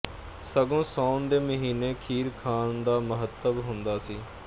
ਸਗੋਂ ਸਾਉਣ ਦੇ ਮਹੀਨੇ ਖੀਰ ਖਾਣ ਦਾ ਮਹਾਤਮ ਹੁੰਦਾ ਸੀ